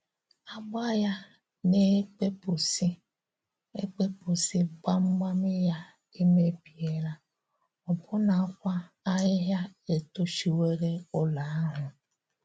Ágbá ya na-ekpèpụ́sị ekpèpụ́sị, gbamgbam ya emebiela, ọ́bụ̀nakwa ahịhịa etochiwò ụlọ̀ ahụ.